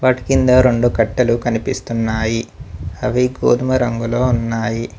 వాటి కింద రొండు కట్టెలు కనిపిస్తున్నాయి అవి గోధుమ రంగులో ఉన్నాయి.